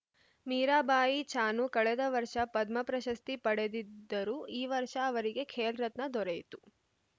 ಮೀರಾಬಾಯಿ ಚಾನು ಕಳೆದ ವರ್ಷ ಪದ್ಮಪ್ರಶಸ್ತಿ ಪಡೆದಿದ್ದರು ಈ ವರ್ಷ ಅವರಿಗೆ ಖೇಲ್‌ ರತ್ನ ದೊರೆಯಿತು